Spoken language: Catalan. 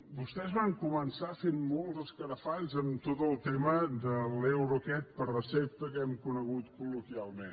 vostès van començar fent molts escarafalls en tot el tema de l’euro aquest per recepta que hem conegut col·loquialment